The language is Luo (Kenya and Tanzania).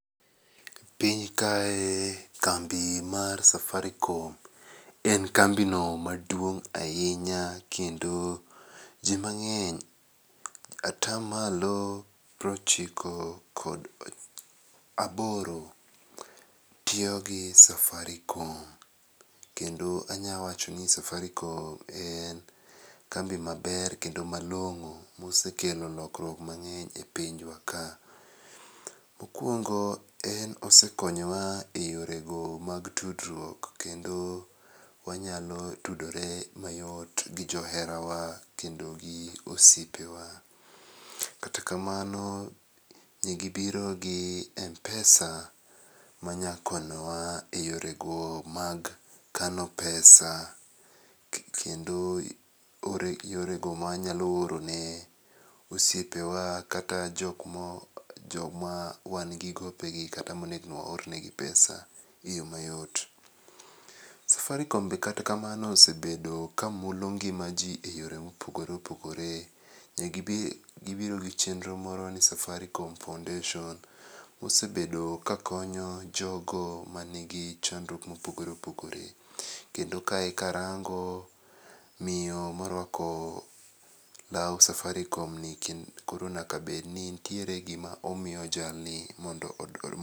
Piny kae kambi mar Safaricom en kambino maduong' ahinya, kendo jii mang'eny atamalo pir ochiko kod aboro tiyogi Safaricom kendo anyawachoni Safaricom en kambi maber kendo malong'o mosekelo lokruok mang'eny e pinjwa ka. Mokuongo en osekonyowa e yorego mag tudruok kendo wanyalo tudore mayot gi joherawa kendogi osiepewa, kata kamano negibiro gi mpesa manyakonyowa e yorego mag kano pesa, kendo yorego mawanyalo orone osiepewa kata jomawan gi gopegi kata onego waor negi pesa eyo mayot. Safaricom be kata kamano osebedo kamulo ngima jii e yore mopogore opogore, negibiro gi chenro moro ni Safaricom Foundation mosebedo kakonyo jogo manigi chandruok mopogore opogore, kendo kae karango miyo moruako lau Safaricomni koro nyakabedni ntiere gima omiyo jalni mondo.